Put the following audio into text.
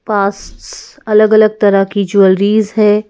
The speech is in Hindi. पास्ट्स अलग अलग तरह की ज्वेलरीज है।